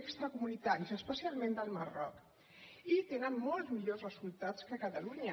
extracomunitaris especialment del marroc i tenen molts millors resultats que catalunya